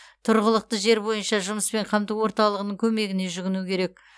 тұрғылықты жер бойынша жұмыспен қамту орталығының көмегіне жүгіну керек